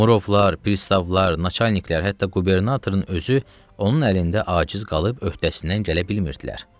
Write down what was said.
Murovlar, pristavlar, naçalniklər, hətta qubernatorun özü onun əlində aciz qalıb öhdəsindən gələ bilmirdilər.